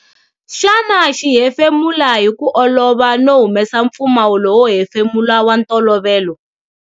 Xana xi hefemula hi ku olova no humesa mpfumawulo wo hefemula wa ntolovelo?